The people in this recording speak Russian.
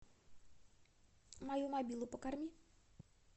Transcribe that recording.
мою мобилу покорми